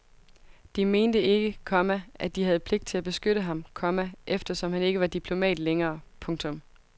De mente ikke, komma at de havde pligt til at beskytte ham, komma eftersom han ikke var diplomat længere. punktum